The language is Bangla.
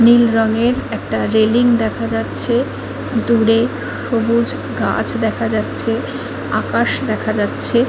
নীল রঙের একটা রেলিং দেখা যাচ্ছে দূরে সবুজ গাছ দেখা যাচ্ছে আকাশ দেখা যাচ্ছে ।